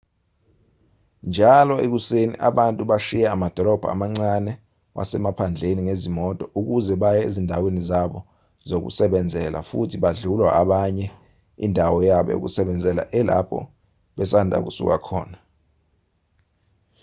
njalo ekuseni abantu bashiya amadolobha amancane wasemaphandleni ngezimoto ukuze baye ezindaweni zabo zokusebenzela futhi badlulwa abanye indawo yabo yokusebenzela elapho basanda kusuka khona